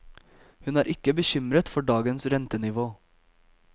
Hun er ikke bekymret for dagens rentenivå.